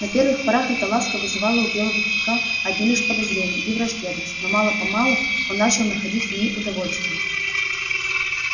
на первых порах эта ласка вызывала у белого клыка одни лишь подозрения и враждебность но мало помалу он начал находить в ней удовольствие